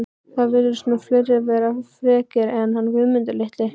Það virðast nú fleiri vera frekir en hann Guðmundur litli